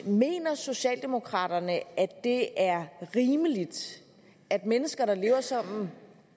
mener socialdemokraterne at det er rimeligt at mennesker der lever sammen